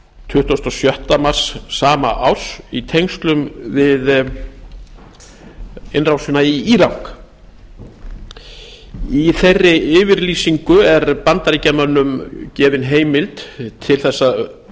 tuttugasta og sjötta mars sama árs í tengslum við innrásina í írak í þeirri yfirlýsingu er bandaríkjamönnum gefin heimild til þess að